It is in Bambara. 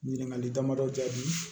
Ɲininkali damadɔ jaabi